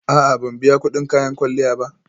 A'a, ban biya kudin kayan kwalliya ba